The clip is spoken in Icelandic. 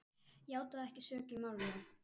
játaði ekki sök í málinu.